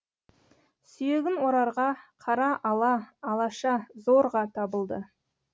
сүйегін орарға қара ала алаша зорға табылды